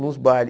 Nos bailes.